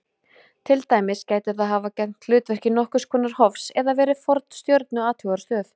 Til dæmis gæti það hafa gegnt hlutverki nokkurs konar hofs eða verið forn stjörnuathugunarstöð.